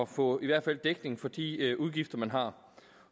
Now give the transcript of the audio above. få i hvert fald dækning for de udgifter man har